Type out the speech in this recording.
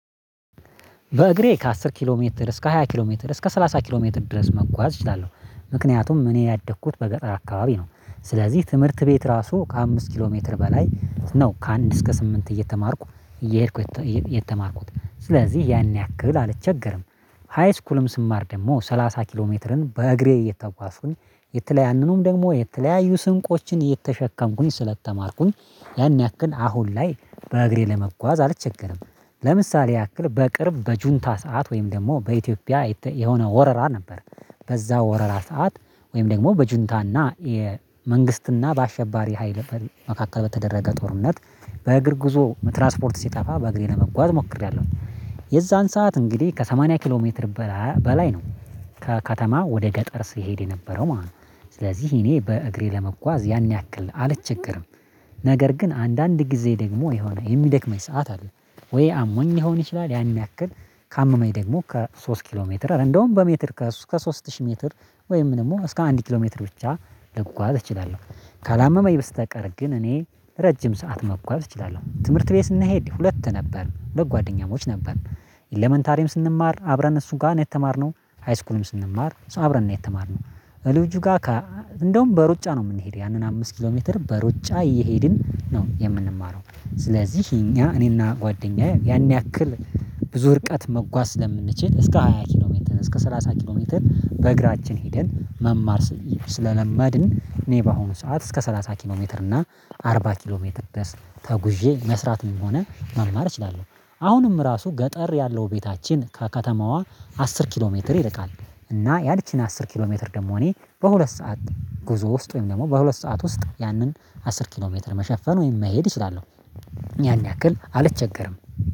በእግሬ ከአስር ኪሎ ሜትር እስከ ሃያ ኪሎ ሜትር እስከ ሰላሳ ኪሎ ሜትር ድረስ መጓዝ እችላለሁ። ምክንያቱም እኔ ያደግኩት በገጠር አካባቢ ነው። ስለዚህ ትምህርት ቤት ራሱ ከአምስት ኪሎ ሜትር በላይ ነው ከአንድ እስከ ስምንት እየተማርኩ እየሄድኩ የተማርኩት ስለዚህ ያን ያክል አልቸገርም። ሃይስኩልም ስማር ደግሞ ሰላሳ ኪሎ ሜትርን በእግሬ እየተጓዝኩኝ የተለያዩንም ደግሞ የተለያዩ ስንቆችን እየተሸከምኩኝ ስለተማርኩኝ ያን ያክል አሁን ላይ በእግሬ ለመጓዝ አልቸገርም። ለምሳሌ ያክል በቅርብ በጁንታ ሰዓት ወይም ደግሞ በኢትዮጵያ የሆነ ወረራ ነበር። በዛ ወረራ ሰዓት ወይም ደግሞ በጁንታና የመንግስትና በአሸባሪ ሀይል መካከል በተደረገ ጦርነት በእግር ጉዞ ትራስፖርት ሲጠፋ በእግሬ ለመጓዝ ሞክሬያለሁ። የዛን ሰዓት እንግዲህ ከሰማኒያ ኪሎ ሜትር በላይ ነው ከከተማ ወደ ገጠር ሲሄድ የነበረው ማለት ነው። ስለዚህ እኔ በእግሬ ለመጓዝ ያን ያክል አልችግርም። ነገር ግን አንዳንድ ጊዜ ደግሞ የሆነ የሚደክመኝ ሰዓት አለ። ወይ አሞኝ ሊሆን ይችላል ያን ያክል ካመመኝ ደግሞ ከሶስት ኪሎ ሜትር እንደውም በሜትር ከሶስት ሺህ ሜትር ወይም ደግሞ እስከ አንድ ኪሎ ሜትር ብቻ ልጓዝ እችላለሁ። ካላመመኝ በስተቀር ግን እኔ ረጅም ሰዓት መጓዝ እችላለሁ ትምህርት ቤት ስንሄድ ሁለት ነበር ሁለት ጓደኛሞች ነበር። ኤለመንታሪም ስንማር አብረን እሱ ጋር ነው የተማርነው። ሃይስኩልም ስንማር አብረን ነው የተማርነው። ልጁ ጋር እንደውም በሩጫ ነው የምንሄደው ያንን አምስት ኪሎ ሜትር በሩጫ እየሄድን ነው የምንማረው ስለዚህ እኛ እኔና ጓደኛዬ ያን ያክል ብዙ ርቀት መጓዝ ስለምንችል እስከ ሃያ ኪሎ ሜንተን እስከ ሰላሳ ኪሎ ሜንተን በእግራችን ሄደን መማር። እኔ በአሁኑ ሰዓት እስከ ሰላሳ ኪሎ ሜትር እና አርባ ኪሎ ሜትር ድረስ ተጉዤ መስራት ነው የምሆነ መማር እችላሉሁ። አሁንም ራሱ ገጠር ያለው ቤታችን ከከተማዋ አስር ኪሎ ሜትር ይርቃል። እና ያችን አስር ኪሎ ሜትር ደግሞ እኔ በሁለት ሰዓት ጉዞ ውስጥ ወይም ደግሞ በሁለት ሰዓት ውስጥ ያንን አስር ኪሎ ሜትር መሸፈን ወይም መሄድ እችላለሁ። ያን ያክል አልቸገርም